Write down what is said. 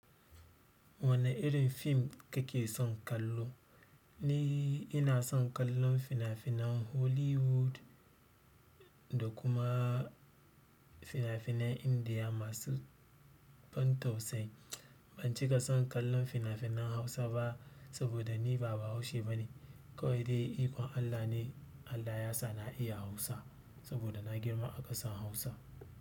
Wane irin fim kake son kallo? Ehh. Inason kallon fina-finan Hollywood, da kuma to fina-finan Indiya masu ban tausayi ban cika son kallon fina-finan Hausa ba saboda ni ba bahaushe bane. Kawai dai, ikon Allah ne Allah ya sa na iya Hausa saboda na girma a ƙasar Hausa.